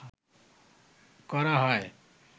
করা হয়